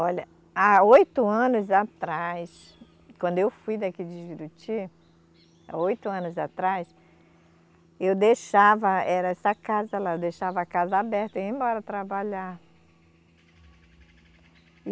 Olha, há oito anos atrás, quando eu fui daqui de Juruti, há oito anos atrás, eu deixava, era essa casa lá, eu deixava a casa aberta e ia embora trabalhar.